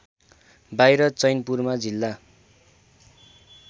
बाहिर चैनपुरमा जिल्ला